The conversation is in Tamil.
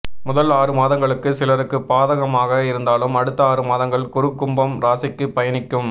முதல் ஆறுமாதங்களுக்கு சிலருக்கு பாதகமாக இருந்தாலும் அடுத்த ஆறுமாதங்கள் குரு கும்பம் ராசிக்கு பயணிக்கும்